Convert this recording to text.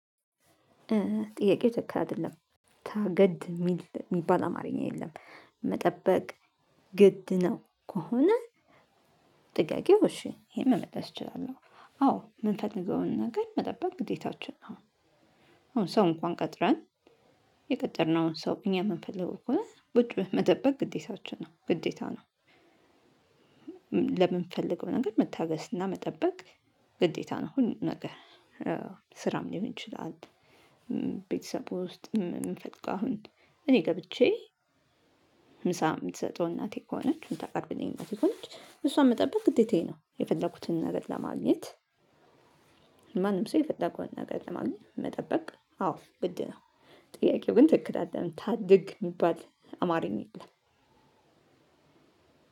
ጥያቄው ትክክል አይደለም ታገድ ሚል የሚባል አማርኛ የለም መጠበቅ ግድ ነው። ከሆነ። ጥቃቄው እሺ ይሄን መመለስ እችላለሁ አዎ የምንፈልገውን ነገር መጠበቅ ግዴታችን ነው። አሁን ሰው እንኳን ቀጥረን የቀጠርነውን ሰው እኛ የምንፈልገው ከሆነ ቁጭ ብለን መጠበቅ ግዴታችን ነው ግዴታ ነው። ለምንፈልገው ነገር መታገስና መጠበቅ ግዴታ ነው። ሁሉን ነገር ስራም ሊሆን ይችላል። ቤተሰቡ ውስጥ ምንፈልገው አሁን እኔ ገብቼ ምሳ የምትሰጠው እናቴ ከሆነች እምታቀርብልኝ እናቴ ከሆነች እሷን መጠበቅ ግዴታዬ ነው። የፈለኩትን ነገር ለማግኘት ማንም ሰው የፈለገውን ነገር ለማግኘት መጠበቅ አዎ ግድ ነው። ጥያቄው ግን ትክክል አይደለም ታድግ የሚባል አማርኛ የለም።